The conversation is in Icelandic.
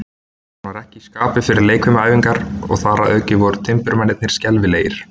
Hann var ekki í skapi fyrir leikfimiæfingar, og þar að auki voru timburmennirnir skelfilegir.